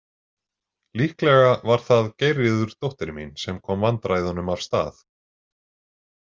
Líklega var það Geirríður dóttir mín sem kom vandræðunum af stað.